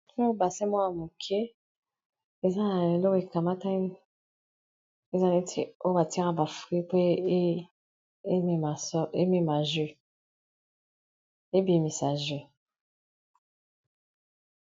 Oyo, basin moko ya moke. Eza lokola ekamatani. Eza neti oyo batyelaka ba fruits pwa ebimisa jus.